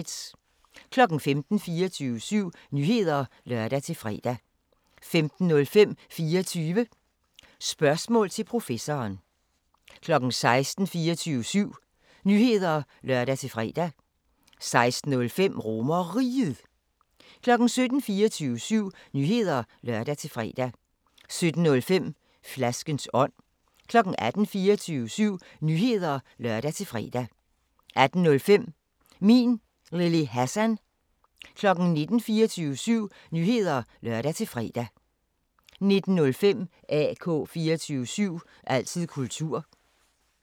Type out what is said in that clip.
15:00: 24syv Nyheder (lør-fre) 15:05: 24 Spørgsmål til Professoren 16:00: 24syv Nyheder (lør-fre) 16:05: RomerRiget 17:00: 24syv Nyheder (lør-fre) 17:05: Flaskens ånd 18:00: 24syv Nyheder (lør-fre) 18:05: Min Lille Hassan 19:00: 24syv Nyheder (lør-fre) 19:05: AK 24syv – altid kultur